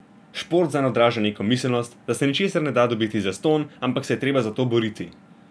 Šport zanj odraža njegovo miselnost, da se ničesar ne da dobiti zastonj, ampak se je treba za to boriti.